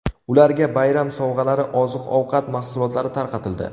Ularga bayram sovg‘alari, oziq-ovqat mahsulotlari tarqatildi.